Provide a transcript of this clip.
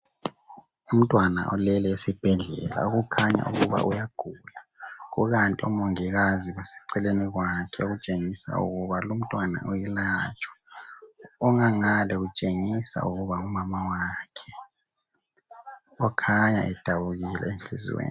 Umntwana ulele esibhedlela okukhanya ukuba uyagula, kukanti omongikazi baseceleni kwakhe okutshengisa ukuba lo umntwana uyelatshwa ongangale utshengisa ukuba ngumamawakhe okukhanya edabukile enhliziyweni.